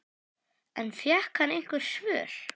En fékk hann einhver svör?